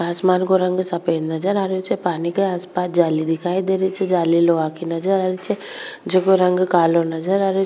आसमान काे रंग सफ़ेद नजर आ रियो छे पानी के आस पास जाली दिखाई दे रही छे जाली लोहा की नजर आ रही छे जको रंग कालो नजर आ रहियो।